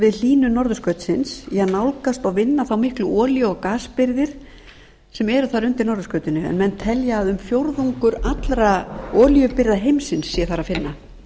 við hlýnun norðurskautsins í að nálgast og vinna þær miklu olíu og gasbirgðir sem eru þar undir norðurskautinu en menn telja að um fjórðungur allra olíubirgða heimsins sé þar að finna